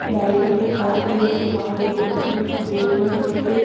लाइटों के तार गए हुए हैं बाहर एक ब्लू कलर का बोर्ड लगा हुआ है।